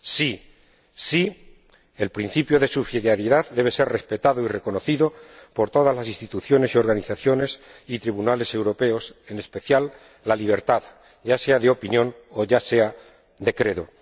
Sí, sí, el principio de subsidiariedad debe ser respetado y reconocido por todas las instituciones, organizaciones y tribunales europeos, en especial la libertad, ya sea de opinión o de credo.